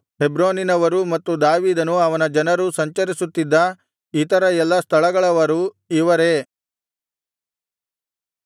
ಹೆಬ್ರೋನಿನವರು ಮತ್ತು ದಾವೀದನೂ ಅವನ ಜನರೂ ಸಂಚರಿಸುತ್ತಿದ್ದ ಇತರ ಎಲ್ಲಾ ಸ್ಥಳಗಳವರು ಇವರೇ